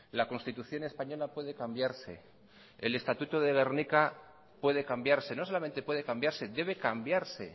la constitución española puede cambiarse el estatuto de gernika puede cambiarse no solamente puede cambiarse debe cambiarse